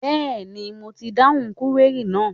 Bẹ́ẹ̀ni, mo ti dáhùn kúwérì náà.